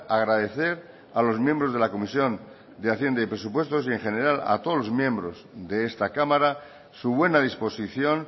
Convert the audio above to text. agradecer a los miembros de la comisión de hacienda y presupuestos y en general a todos los miembros de esta cámara su buena disposición